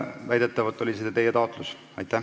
Väidetavalt oli see teie taotlus.